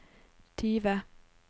tyve